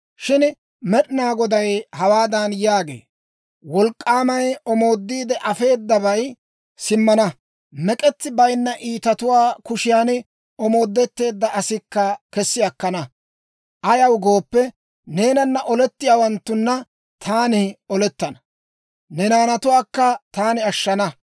Shin Med'inaa Goday hawaadan yaagee; «Wolk'k'aamay omoodiide afeedabay simmana; mek'etsi bayinna iitatuwaa kushiyan omoodetteedda asikka kessi akkana. Ayaw gooppe, neenana olettiyaawanttuna taani olettana; ne naanatuwaakka taani ashshana.